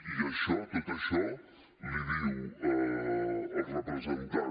i això tot això l’hi diu el representant